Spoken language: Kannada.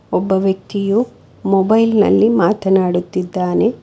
ಒಬ್ಬ ವ್ಯಕ್ತಿಯು ಮೊಬೈಲ್ ನಲ್ಲಿ ಮಾತನಾಡುತ್ತಿದ್ದಾನೆ.